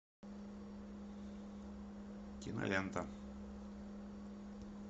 кинолента